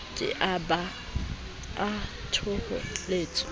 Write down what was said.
ke a ba a thoholetswa